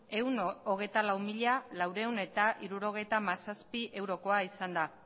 ehun eta hogeita lau mila laurehun eta hirurogeita hamazazpi eurokoa izan da